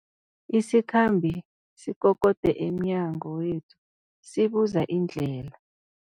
Isikhambi sikokode emnyango wethu sibuza indlela.